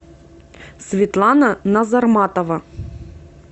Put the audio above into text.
светлана назарматова